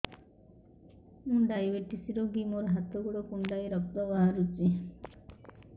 ମୁ ଡାଏବେଟିସ ରୋଗୀ ମୋର ହାତ ଗୋଡ଼ କୁଣ୍ଡାଇ ରକ୍ତ ବାହାରୁଚି